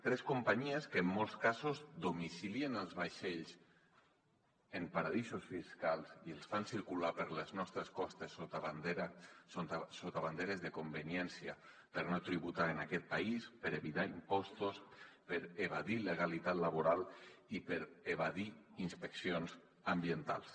tres companyies que en molts casos domicilien els vaixells en paradisos fiscals i els fan circular per les nostres costes sota banderes de conveniència per no tributar en aquest país per evitar impostos per evadir legalitat laboral i per evadir inspeccions ambientals